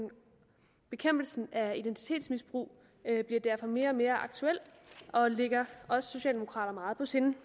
bekæmpelsen af identitetsmisbrug bliver derfor mere og mere aktuel og ligger os socialdemokrater meget på sinde